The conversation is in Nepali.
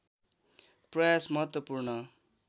प्रयास महत्त्वपूर्ण